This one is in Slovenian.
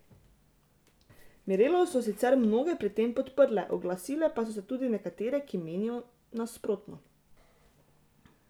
Mirelo so sicer mnoge pri tem podprle, oglasile pa so se tudi nekatere, ki menijo nasprotno.